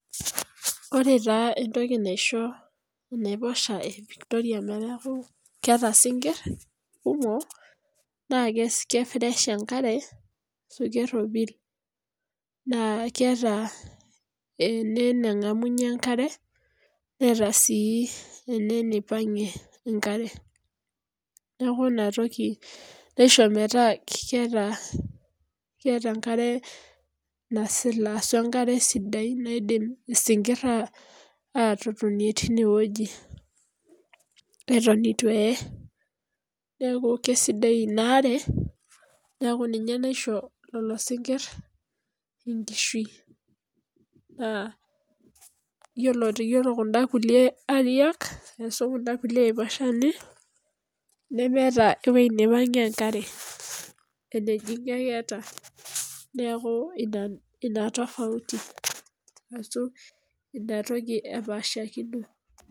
Ore taa entoki naisho enaiposha evictoria metaaku keata sinkir kumok naa kesidaisha enkare ashu keropili naa keata ene nengamunye enkare, neata sii ene neipangie enkare. Naaku inatoki naisho metaa keata, keeta enkare nasila ashu enkare sidai naidim sinkir aatotonie teineweji eton eitu eeyei, naaku kesidai inaare, naaku ninye naisho lelo sinkir inkishui naa iyolo kunda kulee airiak ashu kunda kulee aiposhani nemeeta eweji neipangie enkare, enejing'ie ake eeta, neaku ina tapauti ashu inatoki epaashakino.